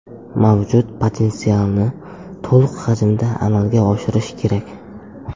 Mavjud potensialni to‘liq hajmda amalga oshirish kerak.